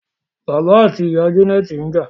bàbá ati màmá Janet's nja.